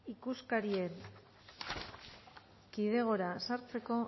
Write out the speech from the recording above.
ikuskarien kidegora sartzeko